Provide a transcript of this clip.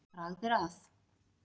Bragð er að.